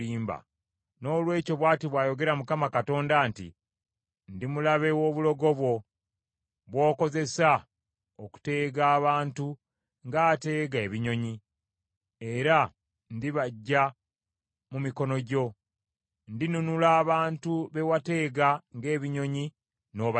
“ ‘Noolwekyo bw’ati bw’ayogera Mukama Katonda nti, Ndi mulabe w’obulogo bwo, bw’okozesa okuteega abantu ng’ateega ebinyonyi, era ndibaggya mu mikono gyo. Ndinunula abantu be wateega ng’ebinyonyi n’obasiba.